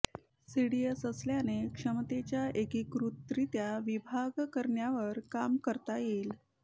CDS असल्याने क्षमतेचा एकीकृतरित्या विकास करण्यावर काम करता येईल